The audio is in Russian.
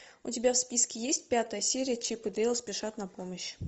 у тебя в списке есть пятая серия чип и дейл спешат на помощь